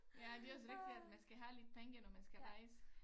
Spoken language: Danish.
Ja det også rigtigt at man skal have lidt penge når man skal rejse